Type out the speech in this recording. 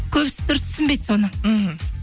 көбісі дұрыс түсінбейді соны мхм